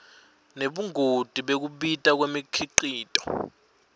nebungoti bekubita kwemikhicito